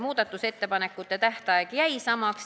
Muudatusettepanekute esitamise tähtaeg jäi samaks.